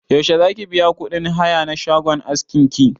Yaushe zaki biya kuɗin haya na shagon askin ki?